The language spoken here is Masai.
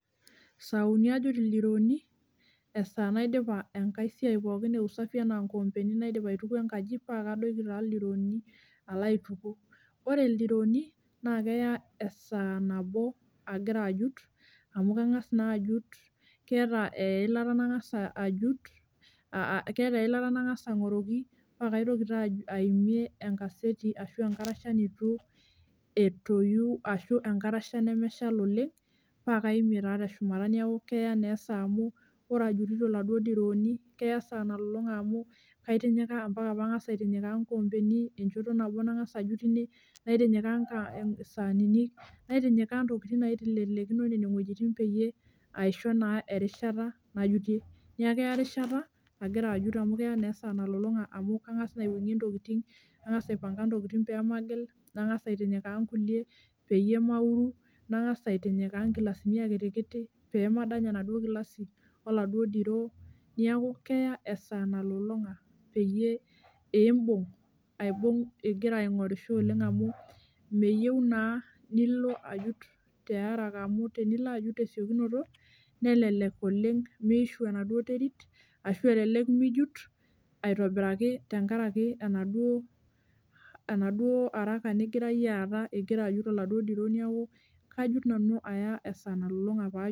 Saai uni ajut ildirooni esaa naidipa enkae siai pookin eusafi enaa inkoombeni naidip aituku enkaji paakadoiki taa ildirooni alo aituku. Ore ildirooni naa naa keya esaa nabo agira ajut amu kangas naa ajut keeta iyilata nankasa ankoroki paa kaitoki taa aimie enkaseti arashu enkarasha neitu etoyu ashu enkarasha nemeshal oleng',paa kamie taa teshumat paakeya naa esaa amu ore ajutito iladuo dirooni keya esaa nalolonga amu amu ambaka nangasa aitinyikaa inkoombeni enjoto nabo nankasa ajut, naitinyikaa isaanini, naitinyikaa intokitin naitelelekino nene wojitin peyie aisho naa erishata najutie. Neeku keya erishata agira ajut, amu keya naa esaa nalolonga amu kangas naa aiwuangie intokitin nangasa aipanga intokitin paamagil, nankasa aitinyikaa inkulie peyie mauru, nangasa aitinyikaa inkilasini akitikiti peemadanya enaduo kilasi oladuo diroo. Neeku keya esaa nalolonga peyie iibung igira ainkorisho amu meyieu naa nilo ajut tiaraka amu tenilo ajut tiaraka amu tenilo ajut tesiokinoto nelelek oleng' miishu enaduo terit, ashu elelek mijut aitobiraki tenkaraki enaduo araka nigira iyie aata igira ajut oladuo diroo neeku kujut nanu aya esaa nalolonga.